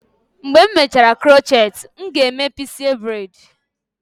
Mgbe m mechara crochet, m ga-eme pixie braid.